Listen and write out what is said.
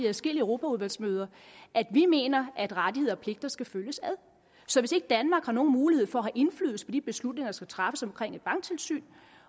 adskillige europaudvalgsmøder at vi mener at rettigheder og pligter skal følges ad så hvis ikke danmark har nogen mulighed for at få indflydelse på de beslutninger der skal træffes om et banktilsyn